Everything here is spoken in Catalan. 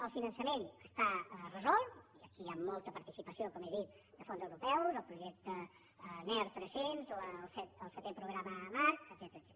el finançament està resolt i aquí hi ha molta participació com he dit de fons europeus el projecte ner300 el setè programa marc etcètera